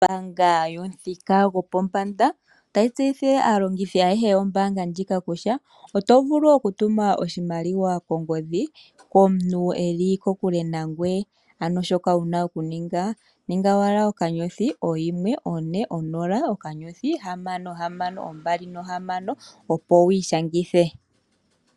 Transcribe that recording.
Ombaanga yopamuthika gwopombanda otayi tseyithile aalongithi ayehe yombaanga ndjika kutya oto vulu oku tuma oshimaliwa kongodhi komuntu e li kokule nangoye ano shoka wu na okuninga, ninga owala *140*6626 opo wu ishangithe.